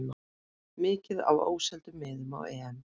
Mikið af óseldum miðum á EM